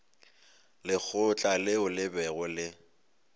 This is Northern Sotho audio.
lekgotla leo le bego le